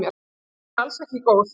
Hún var alls ekki góð.